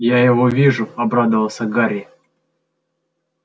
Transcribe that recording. я его вижу обрадовался гарри